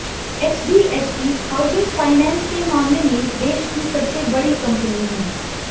HDFC housing finance के मामले में देश की सबसे बड़ी कंपनी है